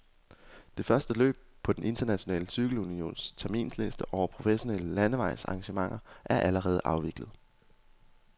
De første løb på den internationale cykelunions terminsliste over professionelle landevejsarrangementer er allerede afviklet.